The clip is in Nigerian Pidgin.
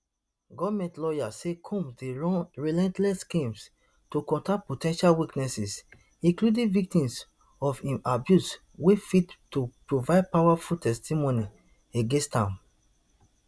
goment lawyers say combs dey run relentless schemes to contact po ten tial witnesses including victims of im abuse wey fit to provide powerful testimony against am